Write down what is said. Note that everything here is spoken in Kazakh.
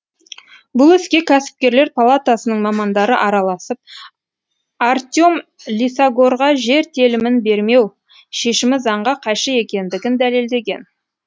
бұл іске кәсіпкерлер палатасының мамандары араласып артем лисагорға жер телімін бермеу шешімі заңға қайшы екендігін дәлелдеген